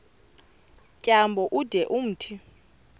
tyambo ude umthi